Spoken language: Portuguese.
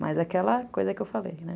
Mas aquela coisa que eu falei, né?